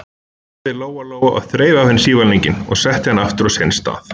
sagði Lóa-Lóa og þreif af henni sívalninginn og setti hann aftur á sinn stað.